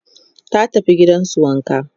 ta tafi gidansu wanka